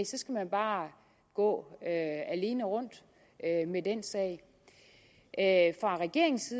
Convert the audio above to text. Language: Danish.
så skal man bare gå alene rundt med den sag fra regeringens